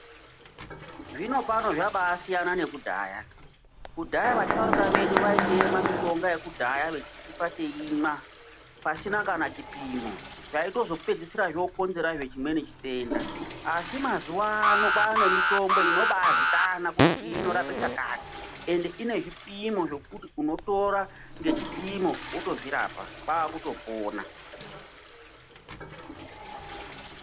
Zvinopano zvakasiyana nekudhaya, kudhaya vasharukwa vedu vaitema mitombo yekudhaya vachitipa eimwa pasina kana chipimo taitozopedzisira zvokonzeresa chimwe chitenda, asi mazuwa an kwane mitombo inobazikanwa kutiniyi inorape chakati ende ine zvipimo zvekuti unotora ngechipimo wotozvirapa kwakupona.